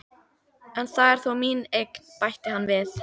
En það er þó mín eign, bætti hann við.